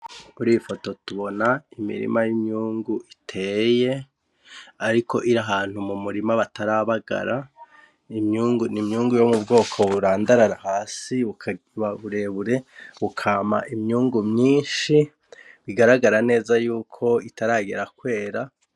Kuri iyi foto tubona imirima y'imyungu iteye ariko iri ahantu mu murima batarabagara, ni imyungu yo mu bwoko burandarara hasi bukaba burebure, bukama imyungu myinshi, bigaragara neza yuko butaragera kwera.